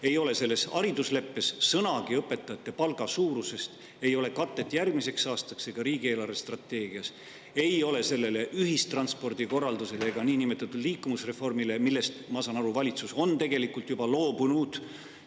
Ei ole selles haridusleppes sõnagi õpetajate palga suurusest, ei ole sellele katet järgmiseks aastaks ega riigi eelarvestrateegias, ei ole ka ühistranspordikorraldusele ega niinimetatud liikuvusreformile, millest, ma saan nii aru, valitsus on tegelikult juba loobunud.